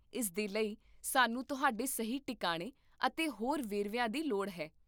ਇਸ ਦੇ ਲਈ, ਸਾਨੂੰ ਤੁਹਾਡੇ ਸਹੀ ਟਿਕਾਣੇ ਅਤੇ ਹੋਰ ਵੇਰਵਿਆਂ ਦੀ ਲੋੜ ਹੈ